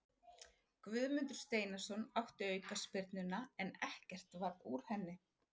Guðmundur Steinarsson átti aukaspyrnuna en ekkert varð úr henni.